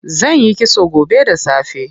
Zanyi kitso gobe da safe.